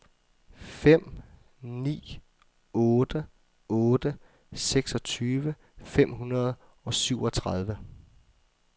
fem ni otte otte seksogtyve fem hundrede og syvogtredive